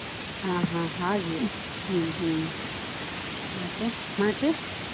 ಹಾ ಹಾ ಹಾಗೆ ಹ್ಮ್ ಹ್ಮ್ ಮತ್ತೆ ಮತ್ತೆ?